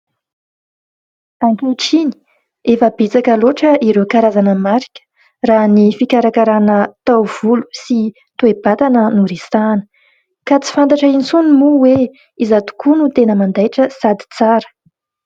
Ankehitriny efa betsaka loatra ireo karazana marika raha ny fikarakarana taovolo sy toe-batana no resahana , ka tsy fantatra intsony moa hoe iza tokoa no tena mandaitra sady tsara.